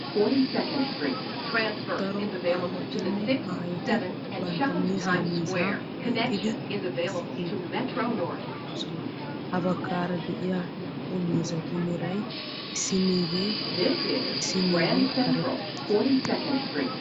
Daro aawatinne aayoti bantta miizza miizzaa oyqidi issi keetta karen eqqidosona, ha bagaara diya naa'u miizatu meray isinigee bootta issinigee karetta.